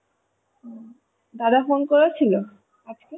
হম দাদা phone করেছিল আজকে?